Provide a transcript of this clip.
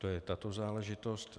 To je tato záležitost.